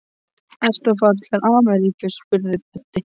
Ertu að fara til Ameríku? spurði Böddi.